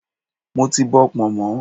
Mo ti bọ pọ̀nmọ́.